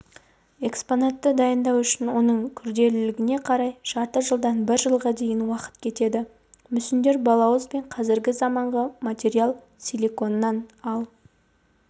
экспонатты дайындау үшін оның күрделілігіне қарай жарты жылдан бір жылға дейін уақыт кетеді мүсіндер балауыз бен қазіргі заманғы материал силиконнан ал